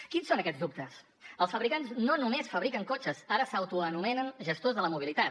quins són aquests dubtes els fabricants no només fabriquen cotxes ara s’autoanomenen gestors de la mobilitat